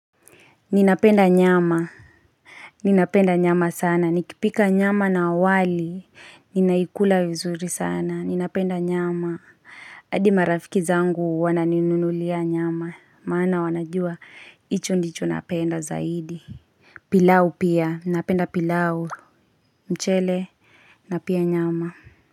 Ninapenda nyama Ninapenda nyama sana nikipika nyama na wali ninaikula vizuri sana ninapenda nyama hadi marafiki zangu wananinunulia nyama maana wanajua hicho ndicho napenda zaidi pilau pia napenda pilau mchele na pia nyama.